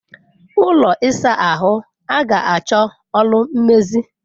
Ụlọ ịsa ahụ a ga achọ ọrụ mmezi.